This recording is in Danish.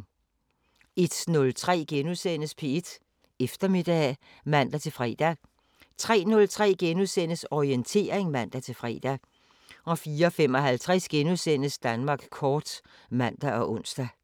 01:03: P1 Eftermiddag *(man-fre) 03:03: Orientering *(man-fre) 04:55: Danmark kort *(man og ons)